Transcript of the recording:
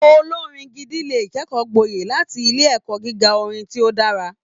Olorin gidi lè kẹkọọ gbọye láti ilé ẹkọ gíga orin ti o dára.